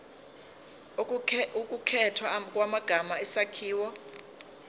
ukukhethwa kwamagama isakhiwo